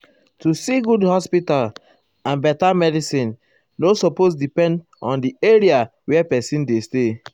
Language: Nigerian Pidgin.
---- to see good hospital and get beta medicin nor medicin nor supose depend erm um on where pesin dey stay.